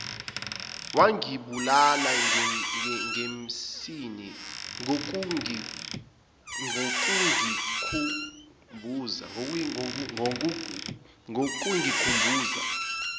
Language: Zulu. wangibulala ngensini ngokungikhumbuza